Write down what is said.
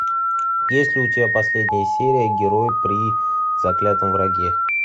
есть ли у тебя последняя серия герои при заклятом враге